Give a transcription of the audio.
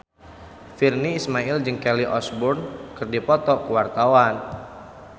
Virnie Ismail jeung Kelly Osbourne keur dipoto ku wartawan